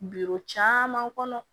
caman kɔnɔ